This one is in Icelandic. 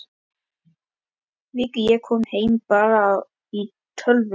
Viku eftir að ég kom heim byrjaði ég á töflum.